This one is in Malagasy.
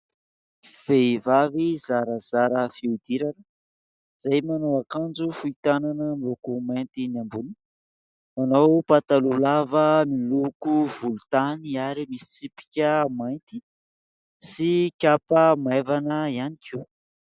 Vehivavy zarazara fihodirana, izay manao akanjo fohy tanana miloko mainty ny ambony. Nanao pataloha lava miloko volontany ary misy tsipika mainty sy kapa maivana ihany koa.